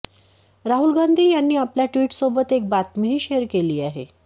राहुल गांधी यांनी आपल्या ट्वीटसोबत एक बातमीही शेअर केली आहे